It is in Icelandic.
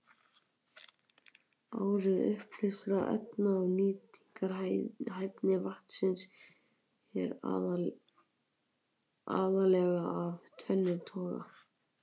Áhrif uppleystra efna á nýtingarhæfni vatnsins eru aðallega af tvennum toga.